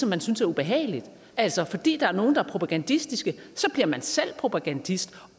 man synes er ubehagelige altså fordi der er nogle der er propagandistiske så bliver man selv propagandist